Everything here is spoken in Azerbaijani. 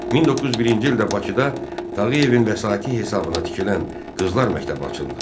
1901-ci ildə Bakıda Tağıyevin vəsaiti hesabına tikilən Qızlar məktəbi açıldı.